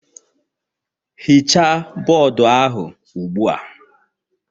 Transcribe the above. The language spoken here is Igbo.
Hichaa bọọdụ ahụ ugbu a.